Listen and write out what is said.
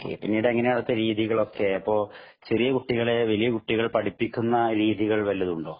പിന്നീട് എങ്ങനെയാണ് അവിടുത്തെ രീതികളൊക്കെ അപ്പൊ ചെറിയ കുട്ടികളെ വലിയ കുട്ടികൾ പഠിപ്പിക്കുന്ന രീതികൾ വല്ലതുമുണ്ടോ